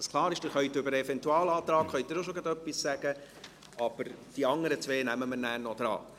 Sie können zum Eventualantrag auch schon etwas sagen, aber die beiden anderen nehmen wir nachher an die Reihe.